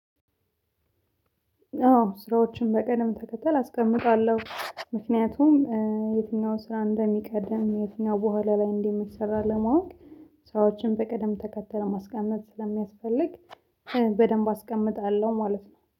አዎ ስራዎችን በቀደም ተከተል አስቀምጣለሁ ምክንያቱም የትኛውን ስራ እንደሚቀደም የትኛው በኋላ ላይ እንደምትሰራ ለማወቅ ሰራዎችን በቅደም ተከተል ማስቀመጥ ስለሚያስፈልግ በደንብ አስቀምጣለሁ ማለት ነው